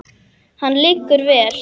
Hann liggur vel.